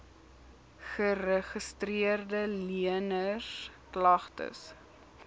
geregistreede leners klagtes